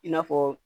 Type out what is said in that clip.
I n'a fɔ